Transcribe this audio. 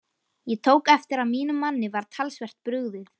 Ég tók eftir að mínum manni var talsvert brugðið.